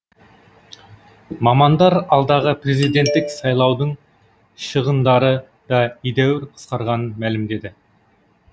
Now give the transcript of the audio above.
мамандар алдағы президенттік сайлаудың шығындары да едәуір қысқарғанын мәлімдеді